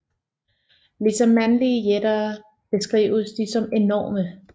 Ligesom mandlige jætter beskrives de som enorme